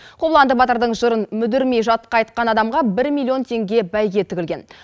қобыланды батырдың жырын мүдірмей жатқа айтқан адамға бір миллион теңге бәйге тігілген